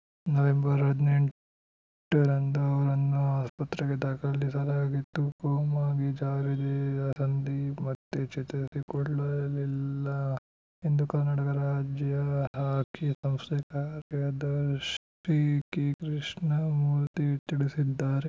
November ಹದಿನೆಂಟರಂದು ಅವರನ್ನು ಆಸ್ಪತ್ರೆಗೆ ದಾಖಲಿಸಲಾಗಿತ್ತು ಕೋಮಾಗೆ ಜಾರಿದ ಸಂದೀಪ್‌ ಮತ್ತೆ ಚೇತರಿಸಿಕೊಳ್ಳಲಿಲ್ಲ ಎಂದು ಕರ್ನಾಟಕ ರಾಜ್ಯ ಹಾಕಿ ಸಂಸ್ಥೆ ಕಾರ್ಯದರ್ಶಿ ಕೆಕೃಷ್ಣಮೂರ್ತಿ ತಿಳಿಸಿದ್ದಾರೆ